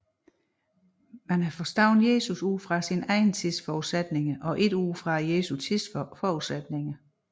Man havde forstået Jesus ud fra sin egen tids forudsætninger og ikke ud fra Jesu tids forudsætninger